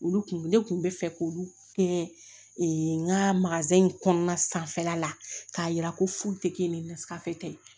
Olu kun ne kun bɛ fɛ k'olu kɛ n ka in kɔnɔna sanfɛla la k'a yira ko furu tɛ kɛ ni nasira fɛ